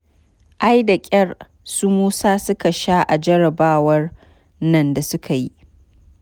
Ai da ƙyar su musa suka sha a jarrabawar nan da suka yi.